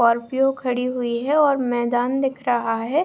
Scorpio खड़ी हुई है ओर मैदांन दिख रहा है।